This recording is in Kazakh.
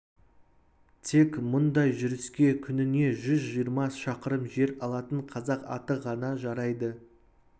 тек мұндай жүріске күніне жүз жиырма шақырым жер алатын қазақ аты ғана жарайды